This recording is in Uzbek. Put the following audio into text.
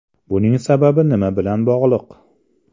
Buning sababi nima bilan bog‘liq?